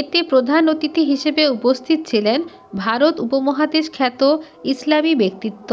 এতে প্রধান অতিথি হিসেবে উপস্থিত ছিলেন ভারত উপমহাদেশ খ্যাত ইসলামি ব্যক্তিত্ব